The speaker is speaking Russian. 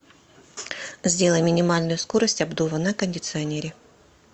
сделай минимальную скорость обдува на кондиционере